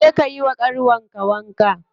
Je ka yiwa ƙanwar ka wanka.